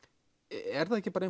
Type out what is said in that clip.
er það ekki bara